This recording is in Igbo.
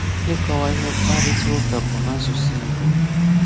Ịkọwa ihe mkparịtaụka bụ nasụsụ Igbo